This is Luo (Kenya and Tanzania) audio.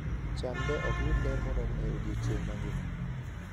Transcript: chamde ok yud ler moromo e odiechieng' mangima